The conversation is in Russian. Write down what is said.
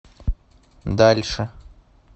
дальше